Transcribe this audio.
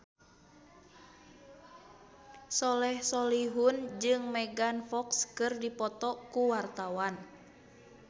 Soleh Solihun jeung Megan Fox keur dipoto ku wartawan